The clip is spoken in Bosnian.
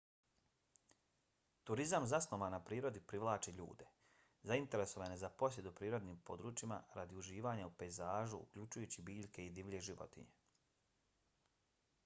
turizam zasnovan na prirodi privlači ljude zainteresovane za posjetu prirodnim područjima radi uživanja u pejzažu uključujući biljke i divlje životinje